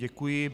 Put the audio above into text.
Děkuji.